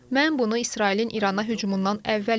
Mən bunu İsrailin İrana hücumundan əvvəl bilirdim.